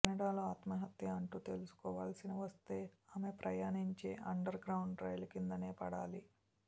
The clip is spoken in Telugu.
కెనడాలో ఆత్మహత్య అంటూ చేసుకోవలసి వస్తే ఆమె ప్రయాణించే అండర్గ్రౌండ్ రైలు కిందనే పడాలి